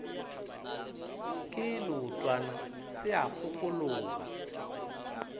ke leotwana se a kgokologa